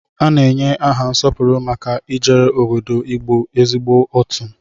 A na-enye aha nsọpụrụ maka ijere obodo Igbo ezigbo atụ.